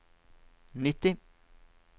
nitti